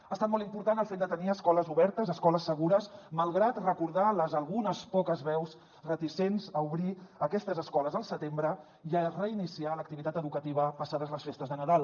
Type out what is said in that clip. ha estat molt important el fet de tenir escoles obertes escoles segures malgrat recordar les algunes poques veus reticents a obrir aquestes escoles al setembre i a reiniciar l’activitat educativa passades les festes de nadal